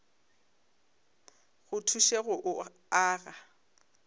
go thuše go o aga